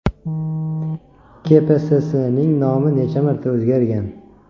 KPSSning nomi necha marta o‘zgargan?